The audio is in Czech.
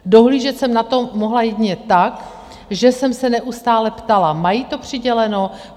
Dohlížet jsem na to mohla jedině tak, že jsem se neustále ptala: Mají to přiděleno?